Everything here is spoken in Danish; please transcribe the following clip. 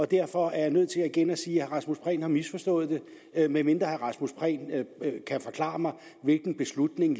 derfor er jeg nødt til igen at sige at herre rasmus prehn har misforstået det medmindre herre rasmus prehn kan forklare mig hvilken beslutning